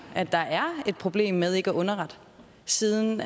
at der er et problem med ikke at underrette siden